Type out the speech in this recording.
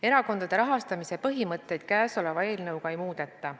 Erakondade rahastamise põhimõtteid käesoleva eelnõuga ei muudeta.